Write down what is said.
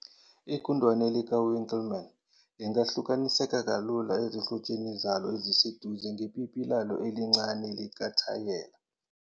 Igundane likaWinkelmann lingahlukaniseka kalula ezihlotsheni zalo eziseduze ngepipi lalo elincane likathayela.